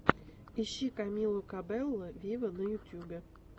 ищи камилу кабелло виво на ютубе